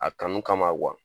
A kanu kama